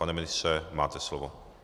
Pane ministře, máte slovo.